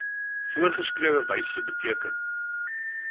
voorgeskrewe wyse beteken